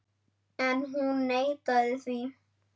En hún neitaði því.